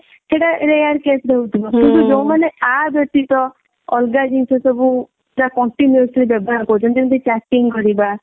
ସେଟା rare case ରେ ହଉଥିବ କିନ୍ତୁ ଯୋଉ ମାନେ ୟା ବ୍ୟତୀତ ଅଲଗା ଜିନିଷ ସବୁ ପୁରା continuously ବ୍ୟବହାର କରୁଛନ୍ତି ଯେମିତି chatting କରିବା